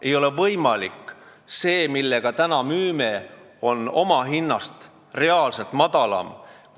See hind, millega me praegu tooteid müüme, on reaalselt omahinnast madalam.